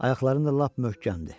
Ayaqlarım da lap möhkəmdir.